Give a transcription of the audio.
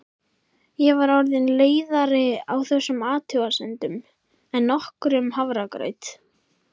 Ég var orðin leiðari á þessum athugasemdum en nokkrum hafragraut.